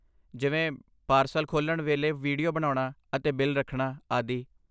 ਜਿਵੇਂ ਪਾਰਸਲ ਖੋਲ੍ਹਣ ਵੇਲੇ ਵੀਡੀਓ ਬਣਾਉਣਾ ਅਤੇ ਬਿੱਲ ਰੱਖਣਾ, ਆਦਿ।